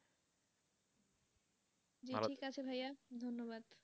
জি ঠিক আছে ভাইয়া ধন্যবাদ।